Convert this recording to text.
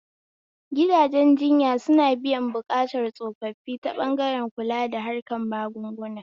Gidajen jinya suna biyan buƙatun tsofaffi ta ɓangaren kula da harkan magunguna